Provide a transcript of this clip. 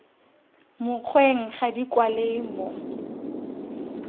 mokgweng ga di kwalwe mo